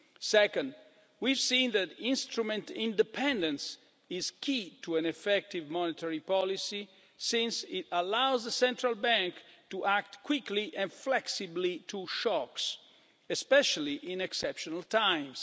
Second, we have seen that instrument independence is key to an effective monetary policy since it allows the central bank to act quickly and flexibly to shocks, especially in exceptional times.